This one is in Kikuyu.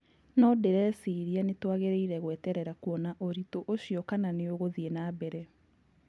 No ndĩreciria nĩtuagĩrĩire gweterera kuona ũritũ ũcio kana nĩugũthie na mbere.